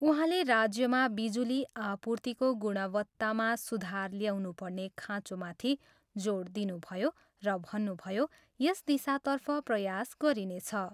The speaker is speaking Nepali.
उहाँले राज्यमा बिजुली आपूर्तिको गुणवत्तामा सुधार ल्याउनुपर्ने खाँचोमाथि जोड दिनुभयो र भन्नुभयो, यस दिशातर्फ प्रयास गरिनेछ।